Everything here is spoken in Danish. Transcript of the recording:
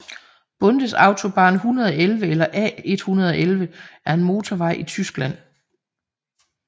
Bundesautobahn 111 eller A 111 er en motorvej i Tyskland